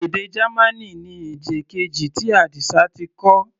Èdè Gamaní ni èdè keji tí Adisa ti kọ́.